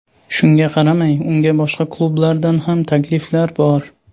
Shunga qaramay, unga boshqa klublardan ham takliflar bor .